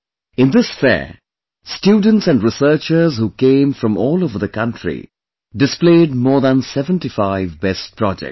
In this fair, students and researchers who came from all over the country, displayed more than 75 best projects